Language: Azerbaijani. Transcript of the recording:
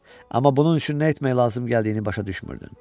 Amma bunun üçün nə etmək lazım gəldiyini başa düşmürdün.